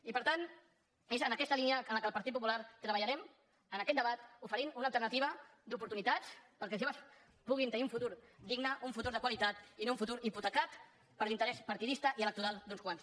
i per tant és en aquesta línia en la qual el partit popular treballarem en aquest debat oferint una alternativa d’oportunitats perquè els joves puguin tenir un futur digne un futur de qualitat i no un futur hipotecat per l’interès partidista i electoral d’uns quants